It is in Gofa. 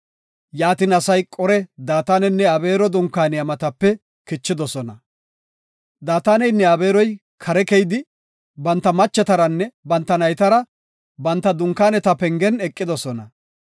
Yaatin asay Qore, Daatanenne Abeero dunkaaniya matape kichidosona. Daataneynne Abeeroy kare keyidi, banta machetaranne banta naytara banta dunkaaneta pengen eqidosona.